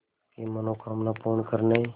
की मनोकामना पूर्ण करने